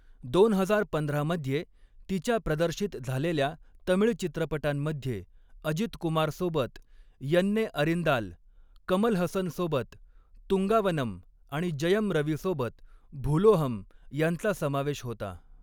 दोन हजार पंधरा मध्ये तिच्या प्रदर्शित झालेल्या तमिळ चित्रपटांमध्ये अजित कुमार सोबत यन्ने अरिन्दाल, कमल हसन सोबत तुंगावनम आणि जयम रवी सोबत भुलोहम यांचा समावेश होता.